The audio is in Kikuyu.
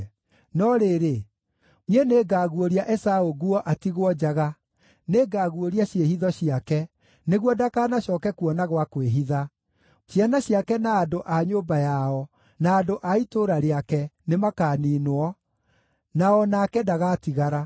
No rĩrĩ, niĩ nĩngaguũria Esaũ nguo atigwo njaga, nĩngaguũria ciĩhitho ciake, nĩguo ndakanacooke kuona gwa kwĩhitha. Ciana ciake, na andũ a nyũmba yao, na andũ a itũũra rĩake nĩmakaniinwo, na o nake ndagatigara.